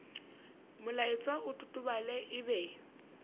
molaetsa o totobale e be